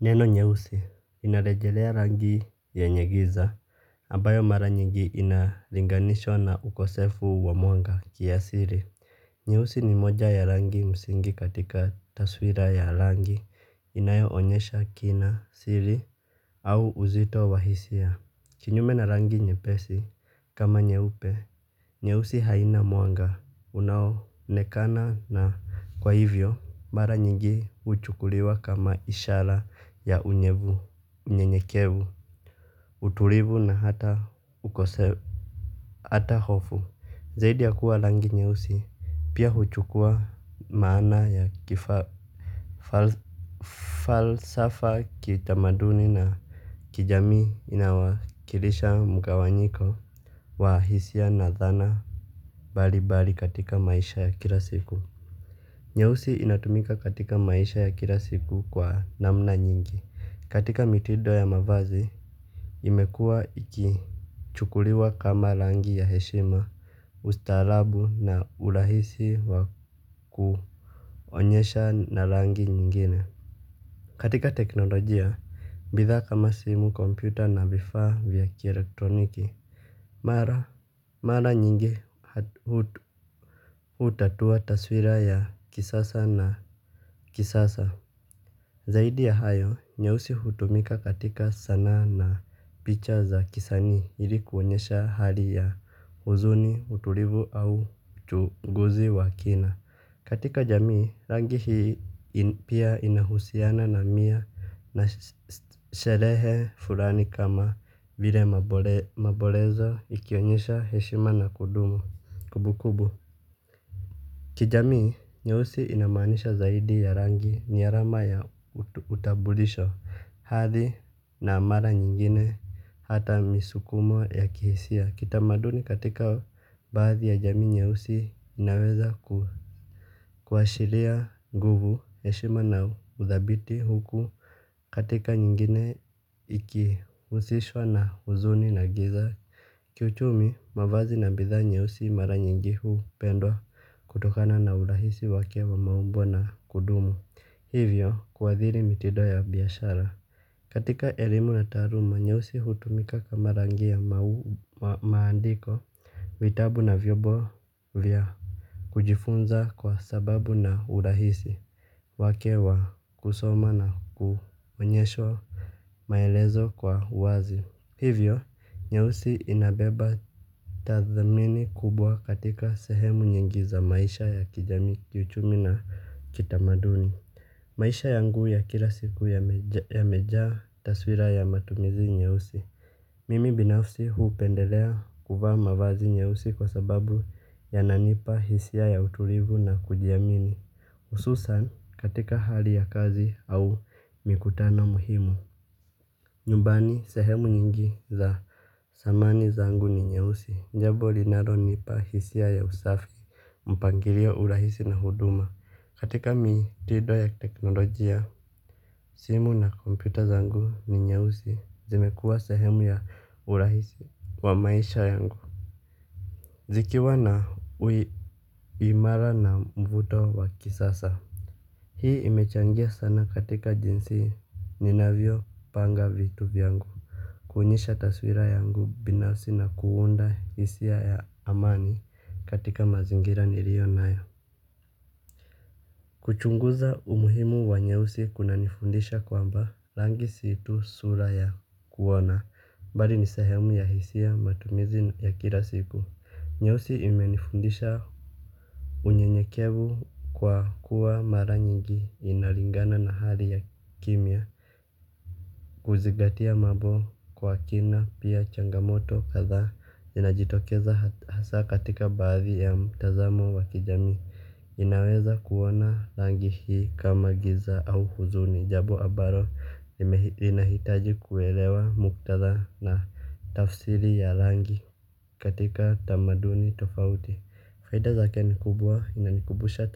Neno nyeusi inarejelea rangi yenye giza ambayo mara nyingi inalinganishwa na ukosefu wa mwanga kiasiri. Nyeusi ni moja ya rangi musingi katika taswira ya rangi inayo onyesha kina siri au uzito wa hisia. Kinyume na rangi nyepesi kama nyeupe nyeusi haina muanga unaonekana na kwa hivyo mara nyingi uchukuliwa kama ishara ya unyebu, unyenyekevu, utulivu na hata ukoseu hata hofu, zaidi ya kuwa langi nyeusi. Pia huchukua maana ya kifalasafa kitamaduni na kijami inawakilisha mkawanyiko wa hisia na dhana bali bali katika maisha ya kila siku. Nyeusi inatumika katika maisha ya kila siku kwa namna nyingi. Katika mitido ya mavazi imekua iki chukuliwa kama langi ya heshima. Ustalabu na ulahisi wa kuonyesha na langi nyingine. Katika teknolojia, mbithaa kama simu kompyuta na vifaa vya kielektroniki. Mara nyingi utatua taswira ya kisasa na kisasa. Zaidi ya hayo, nyeusi hutumika katika sanaa na picha za kisanii ilikuonyesha hali ya huzuni, utulivu au chunguzi wa kina. Katika jamii, rangi hii pia inahusiana na mia na sherehe fulani kama vile mabolezo ikionyesha heshima na kudumu kubu kubu. Kijamii, nyeusi inamaanisha zaidi ya rangi ni arama ya utabulisho. Hathi na amara nyingine hata misukumo ya kihisia. Kitamaduni katika baadhi ya jamii nyeusi inaweza kuhashiria nguvu eshima na uthabiti huku katika nyingine ikiusishwa na uzuni na giza. Kiuchumi mavazi na bidhaa nyeusi mara nyingi huu pendwa kutokana na urahisi wake wa maumbo na kudumu. Hivyo kuadhiri mitido ya biashara katika elimu na taluma, nyeusi hutumika kama rangi ya maandiko vitabu na vyobo vya kujifunza kwa sababu na urahisi wake wa kusoma na kumanyesho. Maelezo kwa wazi. Hivyo, nyeusi inabeba tathamini kubwa katika sehemu nyingi za maisha ya kijami kiuchumi na kitamaduni maisha yangu ya kilasiku yamejaa taswira ya matumizi nyeusi. Mimi binafsi huu pendelea kuvaa mavazi nyeusi kwa sababu ya nanipa hisia ya utulivu na kujiamini. Ususan katika hali ya kazi au mikutano muhimu. Nyumbani sehemu nyingi za samani zangu ni nyeusi. Njabo linaro nipa hisia ya usafi. Mpangilio urahisi na huduma katika mitido ya teknolojia. Simu na kompyuta zangu ni nyeusi zimekuwa sehemu ya urahisi wa maisha yangu zikiwa na uimara na mvuto wa kisasa hii imechangia sana katika jinsi ninavyo panga vitu vyangu. Kuonyesha taswira yangu binafsi na kuunda hisia ya amani katika mazingira nilio nayo. Kuchunguza umuhimu wa nyeusi kuna nifundisha kwamba rangi situ sura ya kuona. Mbali ni sehemu ya hisia matumizi ya kila siku nyeusi imenifundisha unyenyekevu kwa kuwa mara nyingi inalingana na hali ya kimya. Kuzigatia mabo kwa kina pia changamoto katha inajitokeza hasa katika baadhi ya mtazamo wa kijami. Inaweza kuona langi hii kama giza au huzuni. Jabo abaro inahitaji kuelewa muktaza na tafsiri ya langi katika tamaduni tofauti faida zake ni kubwa inanikubusha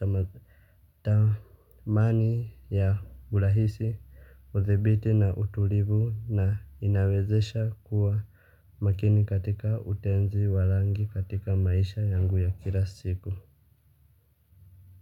tamani ya gulahisi. Uthebiti na utulivu na inawezesha kuwa makini katika utenzi wa langi katika maisha yangu ya kila siku.